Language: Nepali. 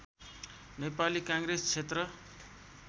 नेपाली काङ्ग्रेस क्षेत्र